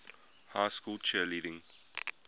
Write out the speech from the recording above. high school cheerleading